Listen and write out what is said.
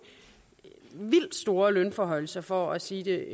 vildt store lønforhøjelser for at sige det